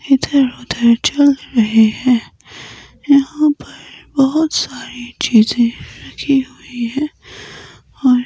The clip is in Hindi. इधर उधर चल रहें हैं यहां पर बहोत सारी चीजें रखी हुईं हैं और--